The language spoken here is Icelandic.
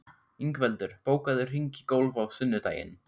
Ingveldur, bókaðu hring í golf á sunnudaginn.